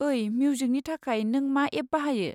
ओइ, मिउजिकनि थाखाय नों मा एप बाहायो?